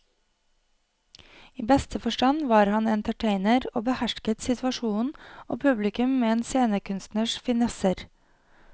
I beste forstand var han entertainer og behersket situasjonen og publikum med en scenekunstners finesser.